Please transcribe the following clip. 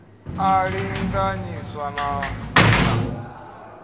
a linganyiswa na u ta